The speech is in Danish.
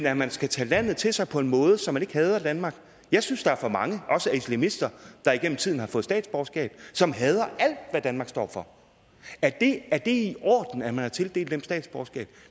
at man skal tage landet til sig på en måde så man ikke hader danmark jeg synes der er for mange også islamister der igennem tiden har fået statsborgerskab som hader alt hvad danmark står for er det er det i orden at man har tildelt dem statsborgerskab